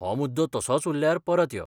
हो मुद्दो तसोच उरल्यार परत यो.